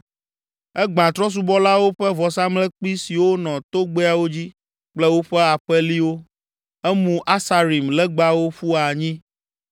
Egbã trɔ̃subɔlawo ƒe vɔsamlekpui siwo nɔ togbɛawo dzi kple woƒe aƒeliwo, emu Aserim legbawo ƒu anyi